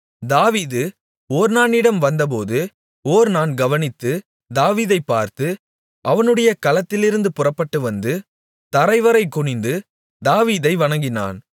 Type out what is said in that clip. தாவீது ஒர்னானிடம் வந்தபோது ஒர்னான் கவனித்து தாவீதைப் பார்த்து அவனுடைய களத்திலிருந்து புறப்பட்டுவந்து தரைவரை குனிந்து தாவீதை வணங்கினான்